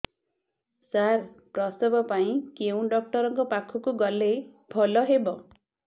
ସାର ପ୍ରସବ ପାଇଁ କେଉଁ ଡକ୍ଟର ଙ୍କ ପାଖକୁ ଗଲେ ଭଲ ହେବ